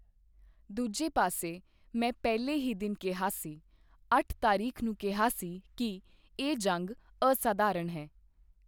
ਦੂਜੇ ਪਾਸੇ, ਮੈਂ ਪਹਿਲੇ ਹੀ ਦਿਨ ਕਿਹਾ ਸੀ, ਅੱਠ ਤਾਰੀਖ਼ ਨੂੰ ਕਿਹਾ ਸੀ ਕਿ ਇਹ ਜੰਗ ਅਸਾਧਾਰਨ ਹੈ।